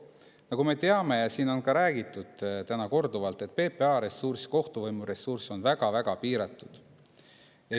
Nagu me teame, on siin ka täna korduvalt räägitud, et PPA ja kohtuvõimu ressurss on väga-väga piiratud.